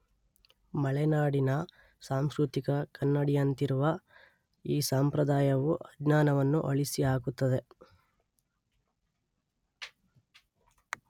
ಮಲೆನಾಡಿನ ಸಾಂಸ್ಕೃತಿಕ ಕನ್ನಡಿಯಂತಿರುವ ಈ ಸಂಪ್ರದಾಯವು ಅಜ್ಞಾನವನ್ನು ಅಳಿಸಿ ಹಾಕುತ್ತದೆ